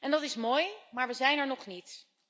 Dat is mooi, maar we zijn er nog niet.